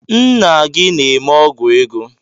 Ńnà gị na-eme ọgwụ ego.